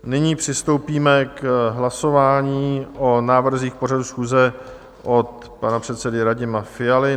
Nyní přistoupíme k hlasování o návrzích pořadu schůze od pana předsedy Radima Fialy.